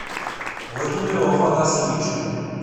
владимиру афанасьевичу